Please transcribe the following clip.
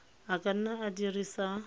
a ka nna a dirisa